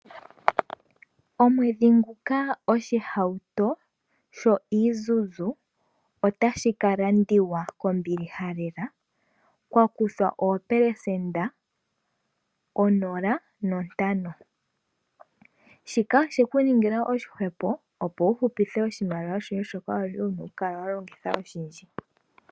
Omwedhi nguka oshihauto sho Isuzu otashi kalandiwa kombilila lela kwa kuthwa oopelesenda onola nontano. Shika osheku ningila oshihwepo opo wu hupithe oshimaliwa shoka wali wuna okukala wa longitha oshindji.